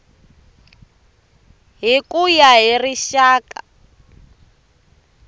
hi ku ya hi rixaka